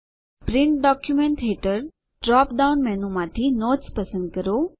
print document હેઠળ drop down menu માંથી notes પસંદ કરો